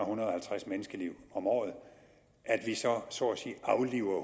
hundrede og halvtreds menneskeliv om året så afliver